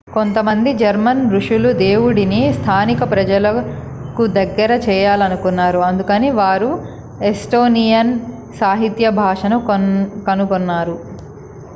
కొంతమంది జర్మన్ ఋషులు దేవుడిని స్థానిక ప్రజలకు దగ్గర చేయాలనుకున్నారు అందుకని వారు ఎస్టోనియన్ సాహిత్య భాషను కనుగొన్నారు